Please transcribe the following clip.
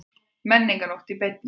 Menningarnótt í beinni